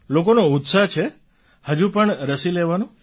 લોકોનો ઉત્સાહ છે હજુ પણ રસી લેવાનો